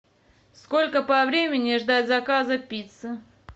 сколько по времени ждать заказа пиццы